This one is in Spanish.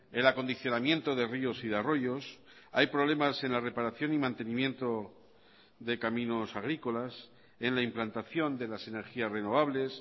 el acondicionamiento de ríos y de arroyos hay problemas en la reparación y mantenimiento de caminos agrícolas en la implantación de las energías renovables